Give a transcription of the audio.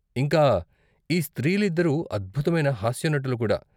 ఇంకా ఈ స్త్రీలు ఇద్దరూ అద్భుతమైన హాస్యనటులు కూడా.